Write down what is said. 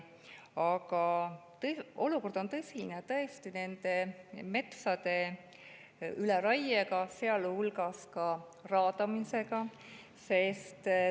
Aga olukord on tõsine, tõesti, metsade üleraie, sealhulgas raadamise tõttu.